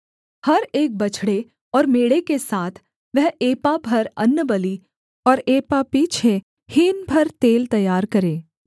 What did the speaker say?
हर एक बछड़े और मेढ़े के साथ वह एपा भर अन्नबलि और एपा पीछे हीन भर तेल तैयार करे